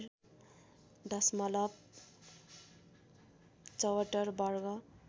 दशमलव ७४ वर्ग